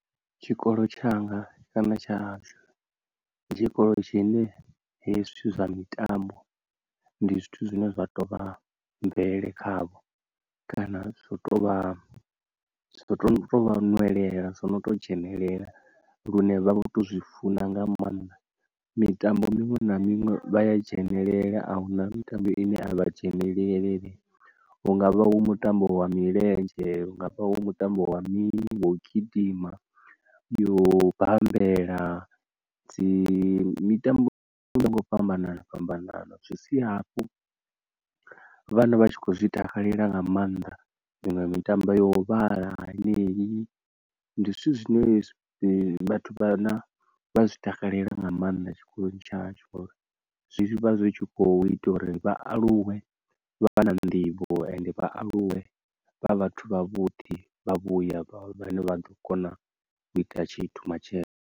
Tshikolo tshanga kana tsha hashu ndi tshikolo tshine hezwi zwithu zwa mitambo ndi zwithu zwine zwa tou vha mvelele khavho, kana zwo to vha zwi to tu tovha nwelela zwo no to dzhenelela lune vha vho to zwi funa nga maanḓa, mitambo miṅwe na minwe vha a dzhenelela ahuna mitambo ine a vha dzhenelele, hungavha hu mutambo wa milenzhe hungavha ho mutambo wa mini wo gidima, yo u bambela dzi mitambo yo yaho nga u fhambanana fhambanaho. Zwi sia hafhu vhana vha tshi khou zwi takalela nga maanḓa. Iṅwe mitambo yo vhala henei, ndi zwithu zwine vhathu vhana vha zwi takalela nga mannda tshikoloni tsha hashu ngauri zwi vha zwi tshi kho ita uri vha aluwe vha vha na nḓivho ende vha aluwe vha vhathu vha vhuḓi vha vhuya vhane vha ḓo kona u ita tshithu matshelo.